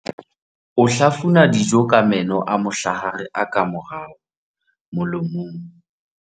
o hlafuna dijo ka meno a mohlahare a ka morao molomong